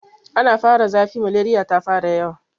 Ana fara zafi, maleriya ta fara yawa.